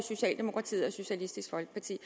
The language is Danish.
socialdemokratiet og socialistisk folkeparti